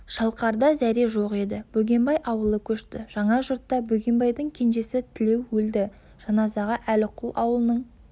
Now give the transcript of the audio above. шалқарда зәре жоқ еді бөгенбай ауылы көшті жаңа жұртта бөгенбайдың кенжесі тілеу өлді жаназаға әліқұл аулының